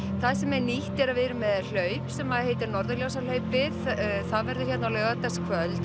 það sem er nýtt er að við erum með hlaup sem heitir Norðurljósahlaupið það verður hérna á laugardagskvöld